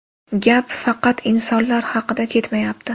Gap faqat insonlar haqida ketmayapti.